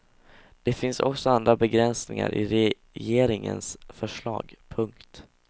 Det finns också andra begränsningar i regeringens förslag. punkt